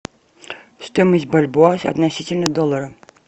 стоимость бальбоа относительно доллара